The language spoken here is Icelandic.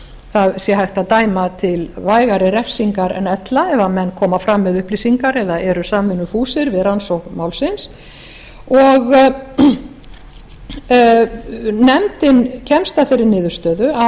það sé hægt að dæma til vægari refsingar en ella ef menn koma fram með upplýsingar eða eru samvinnufúsir við rannsókn málsins nefndin kemst að þeirri niðurstöðu að